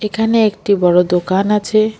এখানে একটি বড় দোকান আছে।